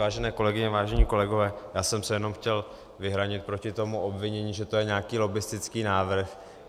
Vážené kolegyně, vážení kolegové, já jsem se jenom chtěl vyhranit proti tomu obvinění, že to je nějaký lobbistický návrh.